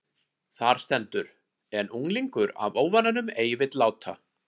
Þar stendur: En unglingur af óvananum ei vill láta